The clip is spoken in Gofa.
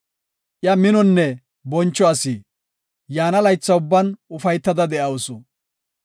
Iya minonne boncho asi; yaana laytha ubban ufaytada de7awusu.